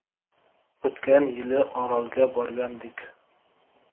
O‘tgan yili Orolga borgandik.